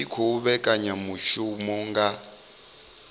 tshi khou vhekanya mishumo nga